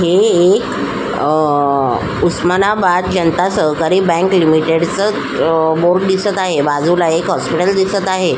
हे एक अ उस्मानाबाद जनता सहकारी बँक लिमिटेड च अ बोर्ड दिसत आहे बाजूला एक हॉस्पिटल दिसत आहे.